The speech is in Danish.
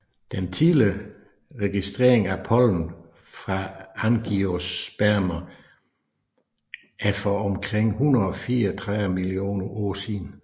Den tidligste registrering af pollen fra angiospermer er for omkring 134 millioner år siden